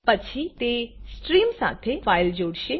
પછી તે સ્ટ્રીમ સાથે ફાઇલ જોડશે